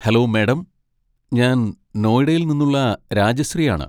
Hello madam, ഞാൻ നോയിഡയിൽ നിന്നുള്ള രാജശ്രീയാണ്.